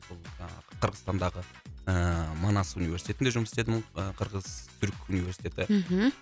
сол жаңағы қырғызстандағы ыыы манас университетінде жұмыс істедім ы қырғыз түрік университеті мхм